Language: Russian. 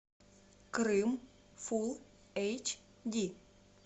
крым фулл эйч ди